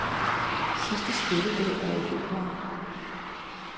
Sidste spilledag er i februar.